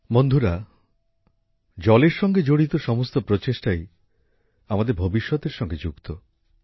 বন্ধুরা জলের সঙ্গে জড়িত সমস্ত প্রচেষ্টাই আমাদের ভবিষ্যতের সঙ্গে যুক্ত